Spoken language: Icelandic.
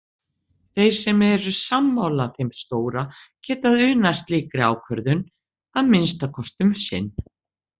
Þeir sem eru sammála þeim stóra geta unað slíkri ákvörðun- að minnsta kosti um sinn.